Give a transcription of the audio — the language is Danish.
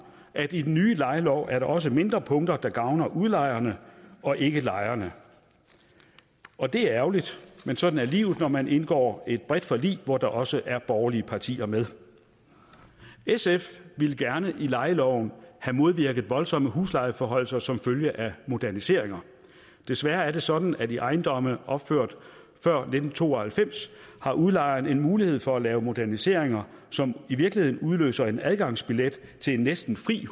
at i den nye lejelov er der også mindre punkter der gavner udlejerne og ikke lejerne og det er ærgerligt men sådan er livet når man indgår et bredt forlig hvor der også er borgerlige partier med sf ville gerne i lejeloven have modvirket voldsomme huslejeforhøjelser som følge af moderniseringer desværre er det sådan at i ejendomme opført før nitten to og halvfems har udlejeren en mulighed for at lave moderniseringer som i virkeligheden udløser en adgangsbillet til en næsten fri